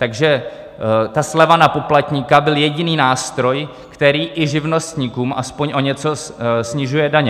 Takže ta sleva na poplatníka byl jediný nástroj, který i živnostníkům aspoň o něco snižuje daně.